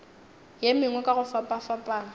ye mengwe ka go fapafapana